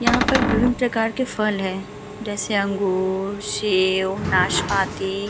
यहाँ पर विभिन्न प्रकार के फल है जैसे अंगूर शेव नाशपाती।